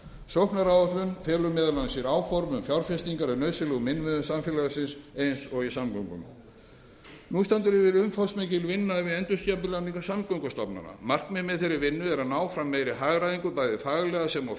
sóknaráætlun felur meðal annars í sér áform um fjárfestingar í nauðsynlegum innviðum samfélagsins eins og í samgöngunum nú stendur yfir umfangsmikil vinna við endurskipulagningu samgöngustofnana markmiðið með þeirri vinnu er að ná fram meiri hagræðingu bæði faglega sem og